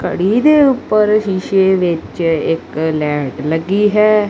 ਘੜੀ ਦੇ ਉੱਪਰ ਸ਼ੀਸ਼ੇ ਵਿੱਚ ਇੱਕ ਲੈਂਟ ਲੱਗੀ ਹੈ।